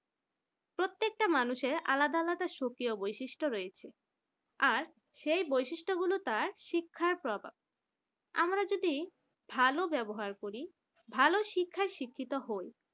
প্রত্যেকটা মানুষের আলাদা আলাদা সুপ্রিয় বৈশিষ্ট্য রয়েছে আর সেই বৈশিষ্ট্যগুলি তার শিক্ষার প্রভাব আমরা যদি ভালো ব্যবহার করি ভাল শিক্ষায় শিক্ষিত হয়